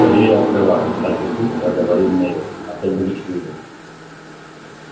скорее открывай так же тихо проговорил невилл а то будет хуже